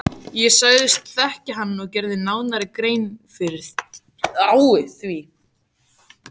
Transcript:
Ég sagðist þekkja hann og gerði nánari grein fyrir því.